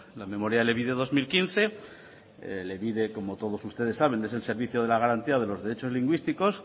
la memoria elebide dos mil quince elebide como todos ustedes saben es el servicio de la garantía de los derechos lingüísticos